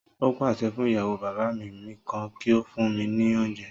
Ó pàṣẹ fún ìyàwó bàbá mi mìíràn kí ó fún mí ní oúnjẹ